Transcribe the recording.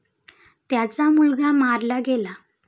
त्याचा मुलगा मारला गेला.